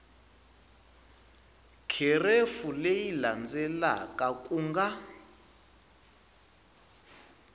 kherefu leyi landzelaka ku nga